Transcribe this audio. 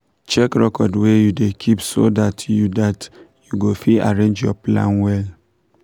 try make water no come pass garri when heat too too much